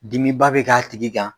Dimiba bɛ k'a tigi kan